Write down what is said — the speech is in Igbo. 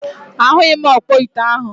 A hughi m okpo ite ahu.